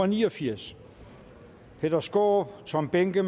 ni og firs peter skaarup tom behnke